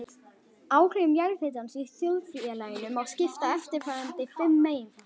Áhrifum jarðhitans í þjóðfélaginu má skipta í eftirfarandi fimm meginflokka